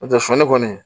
N'o tɛ sɔni kɔni